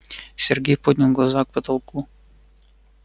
сергей поднял глаза к потолку